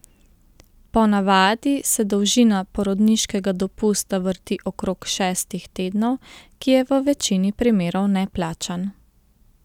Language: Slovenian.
Po navadi se dolžina porodniškega dopusta vrti okrog šestih tednov, ki je v večini primerov neplačan.